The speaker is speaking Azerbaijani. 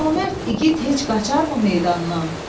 Comərd igid heç qaçarımı meydandan?